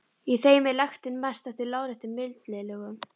Í þeim er lektin mest eftir láréttum millilögum.